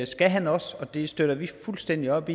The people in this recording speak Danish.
skal han også og det støtter vi fuldstændig op